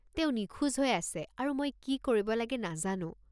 তেওঁ নিখোজ হৈ আছে আৰু মই কি কৰিব লাগে নাজানো।